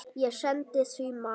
Ég sendi því mat.